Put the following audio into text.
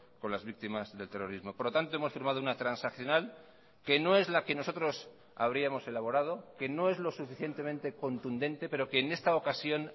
con las víctimas del terrorismo por lo tanto hemos firmado una transaccional que no es la que nosotros habríamos elaborado que no es lo suficientemente contundente pero que en esta ocasión